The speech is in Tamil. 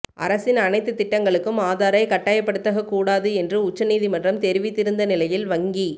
அரசின் அனைத்து திட்டங்களுக்கும் ஆதாரை கட்டாயப்படுத்தகத் கூடாது என்று உச்சநீதிமன்றம் தெரிவித்திருந்த நிலையில் வங்கி